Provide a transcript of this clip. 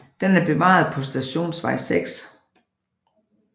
Den er bevaret på Stationsvej 6